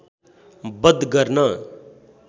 बध गर्न